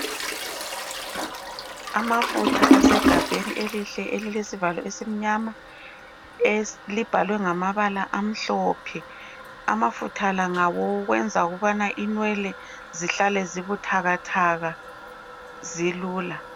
Amafutha asegabheni elihle elilesivalo esimnyama libhalwe ngamabala amhlophe amafutha la ngawokwenza ukubana inwele zihlale zibuthakathaka zilula.